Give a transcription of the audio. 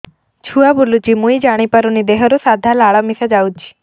ଛୁଆ ବୁଲୁଚି ମୁଇ ଜାଣିପାରୁନି ଦେହରୁ ସାଧା ଲାଳ ମିଶା ଯାଉଚି